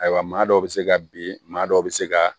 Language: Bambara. Ayiwa maa dɔw bɛ se ka bin maa dɔw bɛ se ka